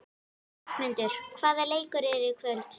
Ásmundur, hvaða leikir eru í kvöld?